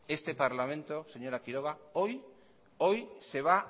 este parlamento señora quiroga hoy se va